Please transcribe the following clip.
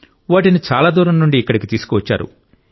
వాటిని చాలా దూరం నుండి ఇక్కడికి తీసుకువచ్చారు